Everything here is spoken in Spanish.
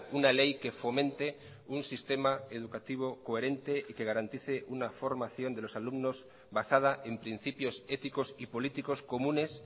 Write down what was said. una ley que fomente un sistema educativo coherente y que garantice una formación de los alumnos basada en principios éticos y políticos comunes